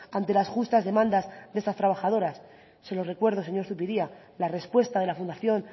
ante las justas demandas de estas trabajadoras se lo recuerdo señor zupiria la respuesta de la fundación